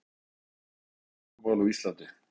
Upphaf nútíma orkumála á Íslandi